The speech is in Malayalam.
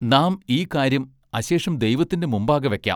നാം ഈ കാര്യം അശേഷം ദൈവത്തിന്റെ മുമ്പാകെ വയ്ക്കാം.